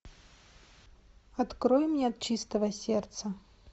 открой мне от чистого сердца